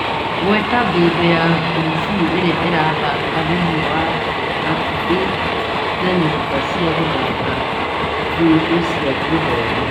Gweta bindiũ ya kungubu ĩrĩa ĩrathaka thĩiniĩ na hakuhĩ na nyũmba ci gũthaka bindiũ cia Gĩthumo .